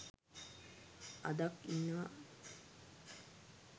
අදක් ඉන්නවා